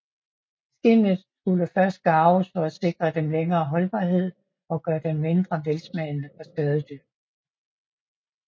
Skindene skulle først garves for at sikre dem længere holdbarhed og gøre dem mindre velsmagende for skadedyr